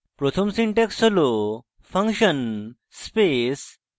প্রথম syntax হল function space function _ name